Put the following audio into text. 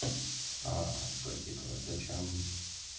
а то типа зачем